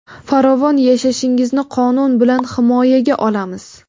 farovon yashashingizni qonun bilan himoyaga olamiz.